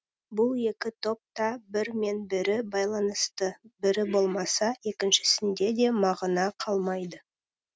бүл екі топ та бірі мен бірі байланысты бірі болмаса екіншісінде де мағына қалмайды